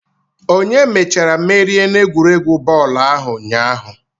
Onye mechara merie n'egwuregwu bọọlụ ahụ ụnyaahụ?